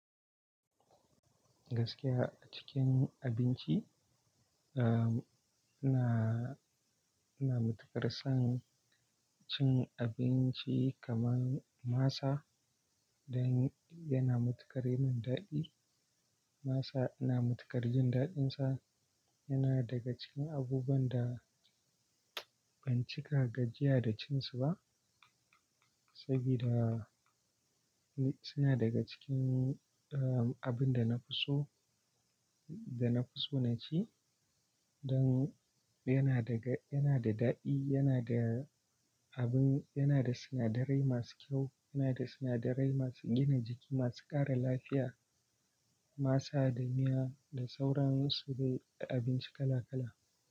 Gaskiya a cikin abinci, uh, ina, ina matuƙar son cin abinci kaman masa don yana matuƙar yi min daɗi. Masa ina matuƙar jin daɗinsa. Yana daga cikin abubuwan da ban cika gajiya da cin su ba, sabida suna daga cikin, uh, abin da na fi so da na fi so na ci don yana daga-- yana da daɗi, yana da abin, yana da sinadarai masu kyau, yana da sinadarai masu gina jiki, masu ƙara lafiya. Masa da miya da sauran su dai abinci kala kala.